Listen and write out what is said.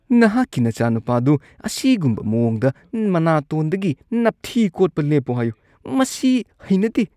ꯅꯍꯥꯛꯀꯤ ꯅꯆꯥꯅꯨꯄꯥꯗꯨ ꯑꯁꯤꯒꯨꯝꯕ ꯃꯑꯣꯡꯗ ꯃꯅꯥꯇꯣꯟꯗꯒꯤ ꯅꯞꯊꯤ ꯀꯣꯠꯄ ꯂꯦꯞꯄꯨ ꯍꯥꯏꯌꯨ꯫ ꯃꯁꯤ ꯍꯩꯅꯗꯦ꯫